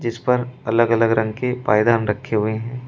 इस पर अलग अलग रंग के पायदान रखे हुए है।